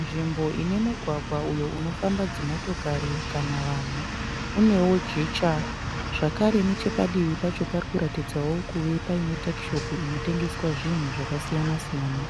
Nzvimbo ine mugwagwa uyo unofamba dzimotokari kana vanhu. Unewo jecha zvakare nechepadivi pacho parikuratidzawo kuve paine takishopu inotengeswa zvinhu zvakasiyana siyana.